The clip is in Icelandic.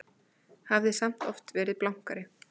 Hafði samt oft verið blankari.